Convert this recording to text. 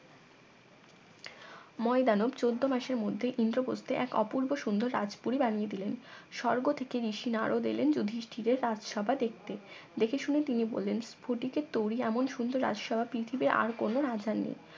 ময়দানব চোদ্দ মাসের মধ্যে ইন্দ্রপ্রস্থে এক অপুর্ব সুন্দর রাজপুরী বানিয়ে দিলেন স্বর্গ থেকে ঋষি নারদ এলেন যুধিষ্টিরের রাজসভা দেখতে দেখে শুনে তিনি বললেন স্ফটিকের তরী এমন সুন্দর রাজসভা পৃথিবীর আর কোন রাজার নেই